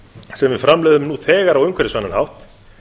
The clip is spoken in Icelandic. sem við framleiðum nú þegar á umhverfisvænan hátt